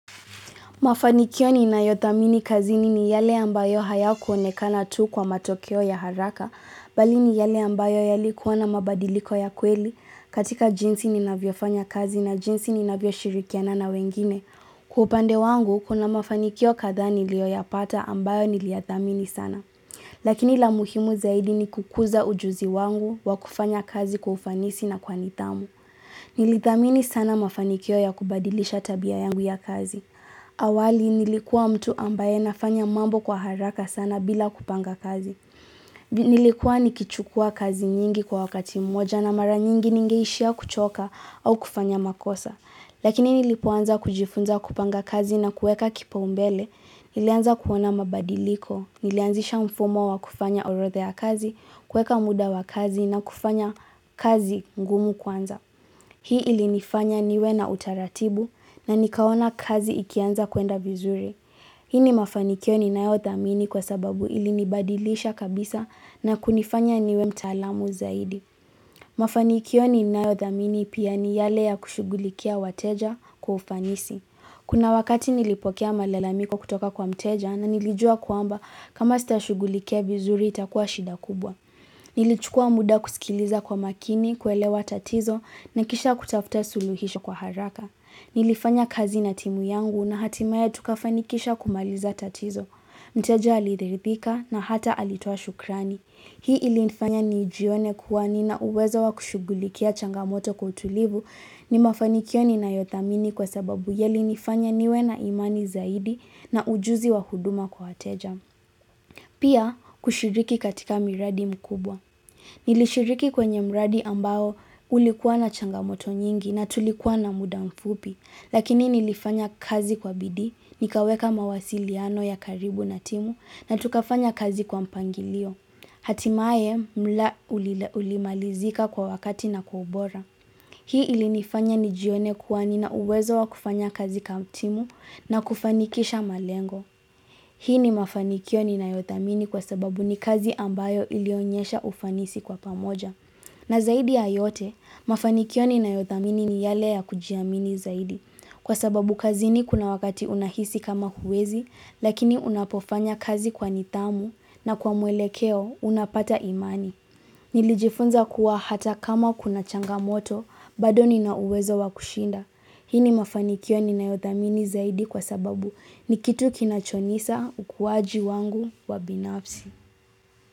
Mafanikio ninayo thamini kazini ni yale ambayo hayakuonekana tu kwa matokeo ya haraka, bali ni yale ambayo yalikuwa na mabadiliko ya kweli katika jinsi ni navyofanya kazi na jinsi ni navyo shirikiana na wengine. Kwa upande wangu, kuna mafanikio kadhaa niliyo yapata ambayo niliyathamini sana. Lakini la muhimu zaidi ni kukuza ujuzi wangu wa kufanya kazi kufanisi na kwa nithamu. Nilithamini sana mafanikio ya kubadilisha tabia yangu ya kazi. Awali nilikuwa mtu ambaye nafanya mambo kwa haraka sana bila kupanga kazi. Nilikuwa nikichukua kazi nyingi kwa wakati moja na mara nyingi ningeishia kuchoka au kufanya makosa. Lakini nilipoanza kujifunza kupanga kazi na kuweka kipaumbele. Nilianza kuona mabadiliko, nilianzisha mfumo wa kufanya orodha kazi, kuweka muda wa kazi na kufanya kazi ngumu kwanza. Hii ili nifanya niwe na utaratibu na nikaona kazi ikianza kuenda vizuri. Hii ni mafanikio ninayo thamini kwa sababu ili nibadilisha kabisa na kunifanya niwe mtaalamu zaidi. Mafanikio ninayo thamini pia ni yale ya kushughulikia wateja kwa ufanisi. Kuna wakati nilipokea malalamiko kutoka kwa mteja na nilijua kwamba kama sitashughulikia vizuri itakuwa shida kubwa. Nilichukua muda kusikiliza kwa makini, kuelewa tatizo na kisha kutafuta suluhisho kwa haraka. Nilifanya kazi na timu yangu na hatimaye tukafanikisha kumaliza tatizo. Mteja alirihidhika na hata alitoa shukrani. Hii ilifanya nijione kuwa nina uwezo wa kushughulikia changamoto kwa utulivu. Ni mafanikio ninayo thamini kwa sababu yali nifanya niwe na imani zaidi na ujuzi wa huduma kwa wateja. Pia kushiriki katika miradi mkubwa. Nilishiriki kwenye mradi ambayo ulikuwa na changamoto nyingi na tulikuwa na muda mfupi, lakini nilifanya kazi kwa bidhii, nikaweka mawasiliano ya karibu na timu na tukafanya kazi kwa mpangilio. Hatimaye mla ulimalizika kwa wakati na kwa ubora. Hii ilinifanya nijione kuwa nina uwezo wa kufanya kazi kama timu na kufanikisha malengo. Hii ni mafanikio ninayo thamini kwa sababu ni kazi ambayo ilionyesha ufanisi kwa pamoja. Na zaidi ya yote, mafanikio ninayo thamini ni yale ya kuijiamini zaidi. Kwa sababu kazini kuna wakati unahisi kama huwezi, lakini unapofanya kazi kwa nithamu na kwa mwelekeo unapata imani. Nilijifunza kuwa hata kama kuna changamoto, bado ni na uwezo wa kushinda. Hii mafanikio ninayo thamini zaidi kwa sababu ni kitu kinachonisa ukuwaji wangu wa binafsi.